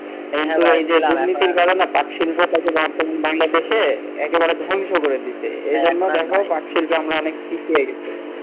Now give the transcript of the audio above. কিন্তু এই যে দুর্নীতির কারনে পাট শিল্প টাকে বাংলাদেশে একেবারে ধ্বংস করে দিছে এই জন্যে দেখ পাট শিল্পে আমরা অনেক পিছিয়ে গেছি।